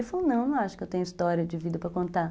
Ele falou, não, acho que eu tenho história de vida para contar.